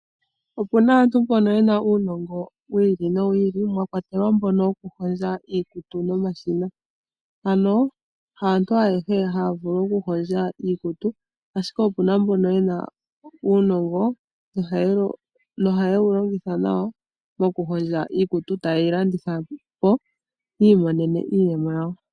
Opuna aantu mbono yena uunongo wiili nowiili, mwakwatelwa mbono wokuhondja iikutu nomashina. Ano haantu ayehe haya vulu okuhongwa iikutu, ashike opuna mbono yena uunongo nohayewu longitha nawa mokuhondja iikutu, etayeyi landithapo , opo yiimonene iiyemo yawo.